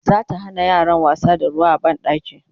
zata Hana yaran wasa da ruwa a banɗaki